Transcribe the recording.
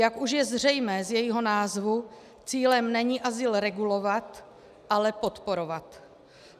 Jak už je zřejmé z jejího názvu, cílem není azyl regulovat, ale podporovat.